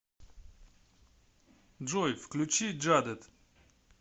джой включи джадэд